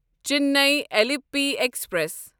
Chennai Alleppey express